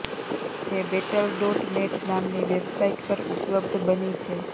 જે battle dot net નામની વેબસાઇટપર ઉપલબ્ધ બની છે